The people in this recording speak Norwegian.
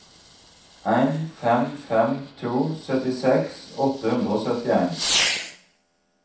en fem fem to syttiseks åtte hundre og syttien